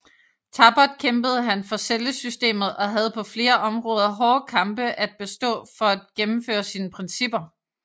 Tappert kæmpede han for cellesystemet og havde på flere områder hårde kampe at bestå for at gennemføre sine principper